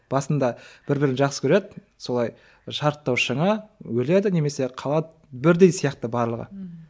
басында бір бірін жақсы көреді солай шарықтау шыңы өледі немесе қалады бірдей сияқты барлығы мхм